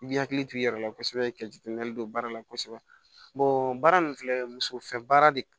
I b'i hakili t'i yɛrɛ la kosɛbɛ ka jateminɛli don baara la kosɛbɛ baara nin filɛ muso fɛn baara de